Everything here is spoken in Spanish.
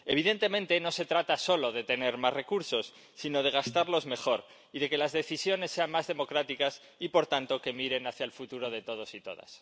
Evidentemente, no se trata solo de tener más recursos, sino de gastarlos mejor y de que las decisiones sean más democráticas y, por tanto, que miren hacia el futuro de todos y todas.